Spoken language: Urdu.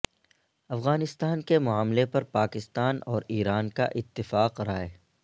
افغانستان کے معاملے پر پاکستان اور ایران کا اتفاق رائے